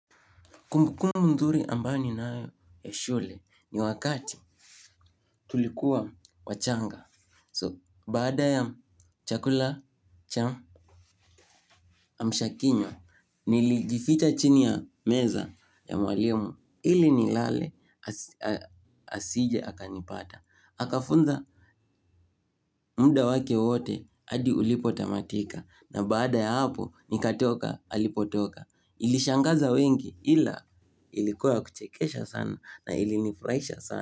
Kumbukumbu nzuri ambayo ninayo ya shule ni wakati tulikuwa wachanga. So, baada ya chakula cham amsha kinywa, nilijificha chini ya meza ya mwalimu ili nilale asije akanipata. Akafunza muda wake wote hadi ulipo tamatika na baada ya hapo nikatoka alipotoka. Ilishangaza wengi ila ilikuwa ya kuchekesha sana na ilinifurahisha sana.